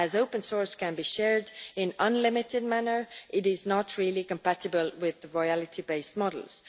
As open source can be shared in an unlimited manner, it is not really compatible with royalty based models.